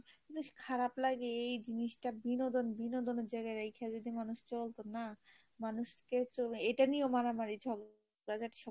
just খারাপ লাগে এই জিনিসটা বিনোদন বিনোদনের জায়গায় রাইখা যদি মানুষ চলতো না, মানুষকে এটা নিয়েও মারামারি চলে